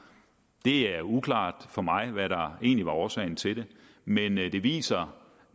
det er uklart for mig hvad der egentlig var årsagen til det men det viser